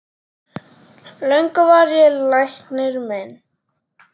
Löngum var ég læknir minn